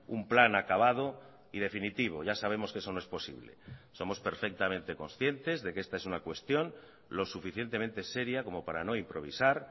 un plan acabado y definitivo ya sabemos que eso no es posible somos perfectamente conscientes de que esta es una cuestión lo suficientemente seria como para no improvisar